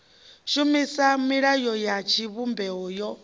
shumisa milayo ya tshivhumbeo yo